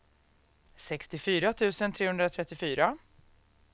sextiofyra tusen trehundratrettiofyra